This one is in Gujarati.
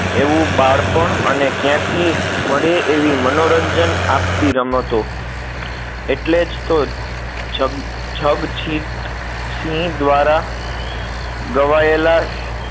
એવું બાળપણ અને કયાથી મળે એવી મનોરંજન આપતી રમતો એટલે જ તો જગ જગજીતસિંહ દ્વારા ગવાયેલા